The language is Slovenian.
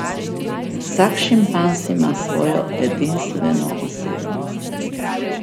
Vsak šimpanz ima svojo edinstveno osebnost.